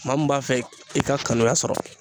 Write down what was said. Maa min b'a fɛ i ka kanuya sɔrɔ